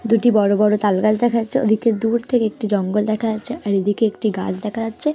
দুটি বড়ো বড়ো তাল গাছ দেখা যাচ্ছে ওই দিকে দূর থেকে একটি জঙ্গল দেখা যাচ্ছে আর এই দিকে একটি গাছ দেখা যাচ্ছে।